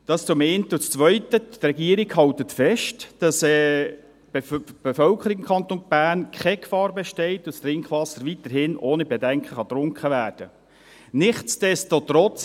Dies zum einen, und das Zweite: Die Regierung hält fest, dass für die Bevölkerung im Kanton Bern keine Gefahr besteht und das Trinkwasser weiterhin ohne Bedenken getrunken werden kann.